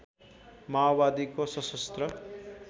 माओवादीको शसस्त्र